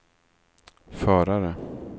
förare